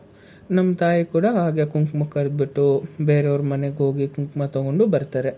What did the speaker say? ನಮ್ ತಾಯಿ ಕೂಡ ಹಾಗೆ ಕುಂಕುಮಕ್ ಕರ್ದ್ ಬುಟ್ಟು ಬೇರೆಯವ್ರ ಮನೆಗ್ ಹೋಗಿ ಕುಂಕುಮ ತಗೊಂಡು ಬರ್ತಾರೆ.